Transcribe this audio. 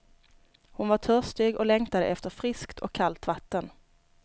Hon var törstig och längtade efter friskt och kallt vatten.